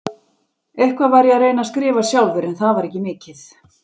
Eitthvað var ég að reyna að skrifa sjálfur, en það var ekki mikið.